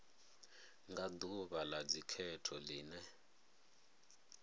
nga ḓuvha ḽa dzikhetho ḽine